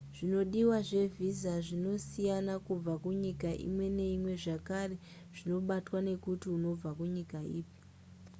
zvinodiwa zvevhisa zvinosiyana kubva kunyika imwe neimwe zvakare zvinobatwa nekuti unobva kunyika ipi